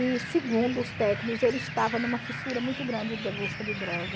E segundo os técnicos, ele estava numa fissura muito grande da busca de droga.